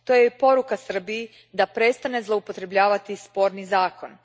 To je i poruka Srbiji da prestane zloupotrebljavati sporni zakon.